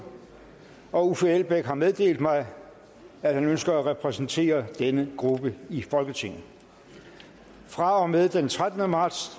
og uffe elbæk har meddelt mig at han ønsker at repræsentere denne gruppe i folketinget fra og med den trettende marts